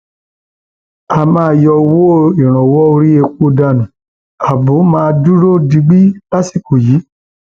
a máa yọ owó ìrànwọ orí epo dànù ààbò sì máa dúró digbí lásìkò yìí